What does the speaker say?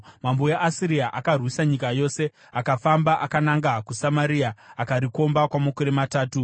Mambo weAsiria akarwisa nyika yose, akafamba akananga kuSamaria akarikomba kwamakore matatu.